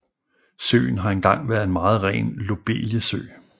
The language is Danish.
Søen har engang været en meget ren lobeliesø